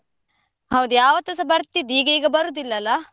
ಹೌದು ಯಾವತ್ತುಸ ಬರ್ತಿದ್ದಿ, ಈಗ ಈಗ ಬರುದಿಲ್ಲ ಅಲ್ಲ?